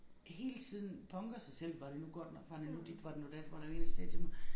Hele tiden punker sig selv var det nu godt nok var det nu dit var det nu dat var der én der sagde til mig